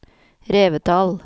Revetal